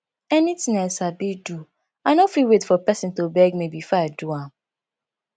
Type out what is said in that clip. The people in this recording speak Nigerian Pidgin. anything i sabi do i no fit wait for pesin to beg me before i do am